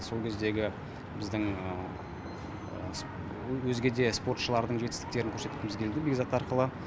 сол кездегі біздің өзге де спортшылардың жетістіктерін көрсеткіміз келді бекзат арқылы